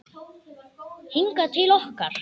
Hingað til okkar?